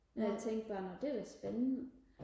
men jeg tænkte bare nå det er da spændende